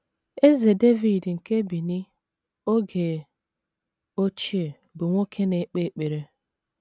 Eze Devid nke Benin oge ochie bụ nwoke na - ekpe ekpere.